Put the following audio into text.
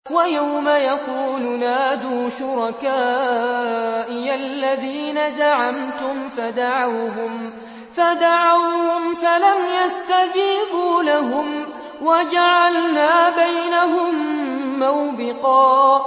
وَيَوْمَ يَقُولُ نَادُوا شُرَكَائِيَ الَّذِينَ زَعَمْتُمْ فَدَعَوْهُمْ فَلَمْ يَسْتَجِيبُوا لَهُمْ وَجَعَلْنَا بَيْنَهُم مَّوْبِقًا